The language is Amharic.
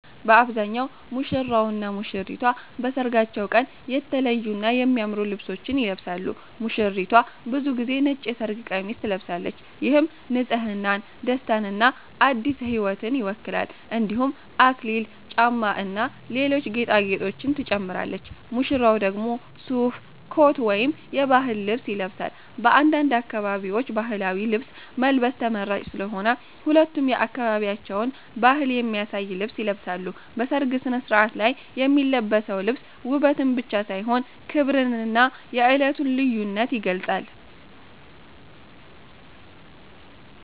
በአብዛኛው ሙሽራውና ሙሽሪቷ በሠርጋቸው ቀን የተለዩና የሚያምሩ ልብሶችን ይለብሳሉ። ሙሽሪቷ ብዙ ጊዜ ነጭ የሠርግ ቀሚስ ትለብሳለች፣ ይህም ንፅህናን፣ ደስታንና አዲስ ሕይወትን ይወክላል። እንዲሁም አክሊል፣ ጫማ እና ሌሎች ጌጣጌጦችን ትጨምራለች። ሙሽራው ደግሞ ሱፍ፣ ኮት ወይም የባህል ልብስ ይለብሳል። በአንዳንድ አካባቢዎች ባህላዊ ልብስ መልበስ ተመራጭ ስለሆነ ሁለቱም የአካባቢያቸውን ባህል የሚያሳይ ልብስ ይለብሳሉ። በሠርግ ሥነ ሥርዓት ላይ የሚለበሰው ልብስ ውበትን ብቻ ሳይሆን ክብርንና የዕለቱን ልዩነት ይገልጻል።